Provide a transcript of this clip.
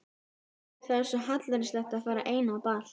Guð, það er svo hallærislegt að fara ein á ball.